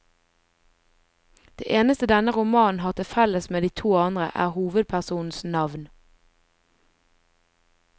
Det eneste denne romanen har til felles med de to andre, er hovedpersonenes navn.